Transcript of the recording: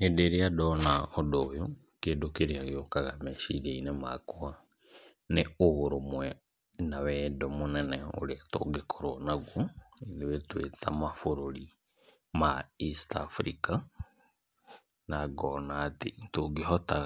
Hĩndĩ ĩrĩa ndona ũndũ ũyũ, kĩndũ kĩrĩa gĩũkaga meciria-inĩ makwa, nĩ ũrũmwe na wendo mũnene ũrĩa tũngĩkorwo naguo ithuĩ twĩtamabũrũri ma East Afrika, na ngona atĩ, nĩngĩhota